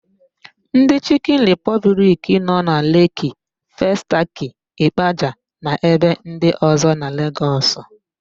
Ndị Chịkịn Ripọbliki nọ na Leeki, Festakị, Ịkpaja na ebe ndị ọ̀zọ́ na Legọs.